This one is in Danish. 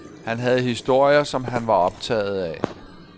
Han havde historier, som han var optaget af.